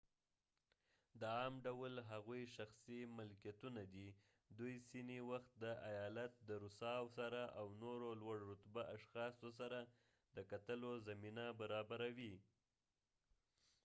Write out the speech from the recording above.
د عام ډول هغوي شخصی ملکېتونه دي ،دوي څینی وخت د ایالت د رووساو سره او نورو لوړ رتبه اشخاصو سره د کتلو زمینه برابروي